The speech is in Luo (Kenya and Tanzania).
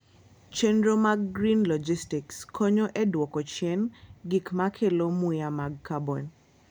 Chenro mag green logistics konyo e dwoko chien gik ma kelo muya mar carbon.